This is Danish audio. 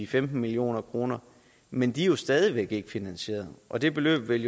femten million kroner men de er jo stadig væk ikke finansieret og det beløb vil